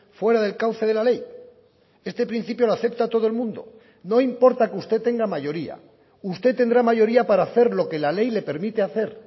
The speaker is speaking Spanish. fuera del cauce de la ley este principio lo acepta todo el mundo no importa que usted tenga mayoría usted tendrá mayoría para hacer lo que la ley le permite hacer